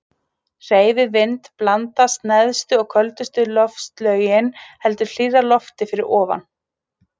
Hreyfi vind blandast neðstu og köldustu loftlögin heldur hlýrra lofti fyrir ofan.